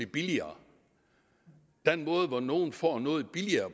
billigere den måde hvorpå nogle får noget billigere